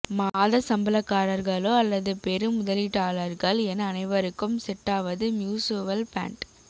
மாத சம்பளக்கார்ர்களோ அல்லது பெரு முதலீட்டாளர்கள் என அனைவருக்கும் செட்டாவது மியூசுவல் ஃபண்ட்